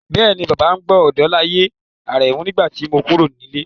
Bẹ́ẹ̀ni, Bàbá ń gbọ́ Odolaye Aremu nígbà tí mo kúrò nílé.